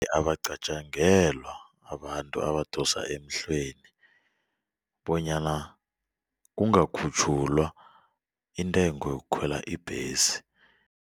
Abacatjangelwa abantu abadosa emhlweni bonyana kungakhutjhulwa intengo yokukhwela ibhesi.